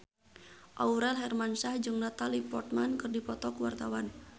Aurel Hermansyah jeung Natalie Portman keur dipoto ku wartawan